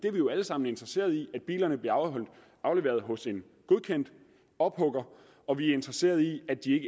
er jo alle sammen interesseret i at bilerne bliver afleveret hos en godkendt ophugger og vi er interesseret i at de